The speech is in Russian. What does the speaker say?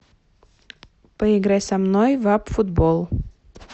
поиграй со мной в апп футбол